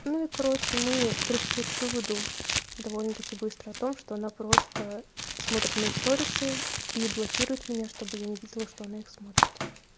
ну и короче мы пришли к выводу довольно-таки быстро о том что она просто смотрит мои сторисы и и блокирует меня чтобы я не видела что она их смотрит